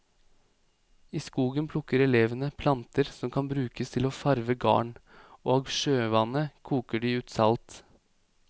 I skogen plukker elevene planter som kan brukes til å farve garn, og av sjøvannet koker de ut salt.